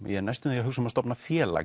ég er næstum því að hugsa um að stofna félag